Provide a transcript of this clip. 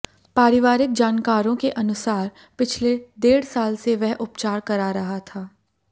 पारिवारिक जानकारों के अनुसार पिछले डेढ़ साल से वह उपचार करा रहा था